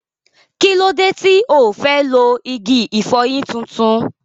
Kí ló dé tí ò fẹ́ lo igi ìfọyín tuntun?